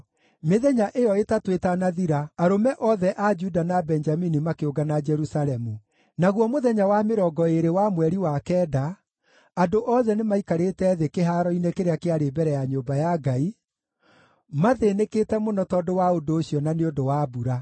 Mĩthenya ĩyo ĩtatũ ĩtanathira, arũme othe a Juda na Benjamini makĩũngana Jerusalemu. Naguo mũthenya wa mĩrongo ĩĩrĩ wa mweri wa kenda, andũ othe nĩmaikarĩte thĩ kĩhaaro-inĩ kĩrĩa kĩarĩ mbere ya nyũmba ya Ngai, mathĩnĩkĩte mũno tondũ wa ũndũ ũcio na nĩ ũndũ wa mbura.